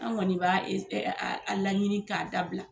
An kɔni b' a a laɲini k'a dabila.